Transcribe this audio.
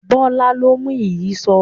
Bọ́lá ló mú ìyíṣòó.